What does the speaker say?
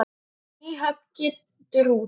Nýhöfn getur út.